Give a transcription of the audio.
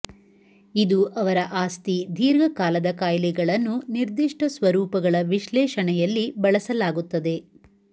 ಇದು ಅವರ ಆಸ್ತಿ ದೀರ್ಘಕಾಲದ ಕಾಯಿಲೆಗಳನ್ನು ನಿರ್ದಿಷ್ಟ ಸ್ವರೂಪಗಳ ವಿಶ್ಲೇಷಣೆಯಲ್ಲಿ ಬಳಸಲಾಗುತ್ತದೆ